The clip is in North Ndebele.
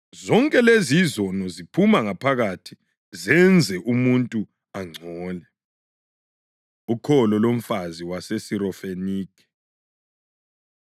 Zonke lezi izono ziphuma ngaphakathi zenze umuntu angcole.” Ukholo lomfazi WomSirofenikhe